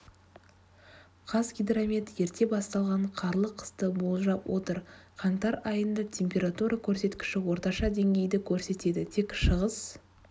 қазгидромет ерте басталған қарлы қысты болжап отыр қаңтар айында температура көрсеткіші орташа деңгейді көрсетеді тек шығыс